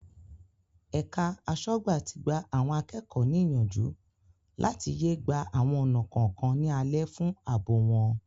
Ẹ̀ka aṣọ́gbà tí gba àwọn akẹ́kọ̀ọ́ ní ìyànjú láti yé gba àwọn ọ̀nà kọ̀ọ̀kan ní alẹ̀ fún àbò wọn.